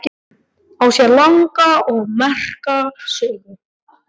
Á sér langa og merka sögu.